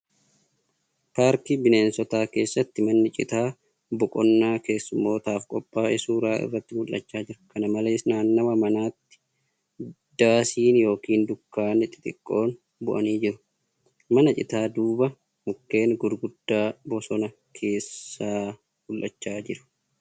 Paarkii bineensotaa keessatti manni citaa boqonnaa keessumootaaf qophaa' e suura irratti mul'achaa jira. Kana malees, naannawaa manaatti daasiin yookan dukkaanni xixiqqoon bu'anii jiru. Mana citaa duuba mukkeen gurguddaan bosona keessaa mul'achaa jiru.